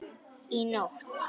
Í nótt?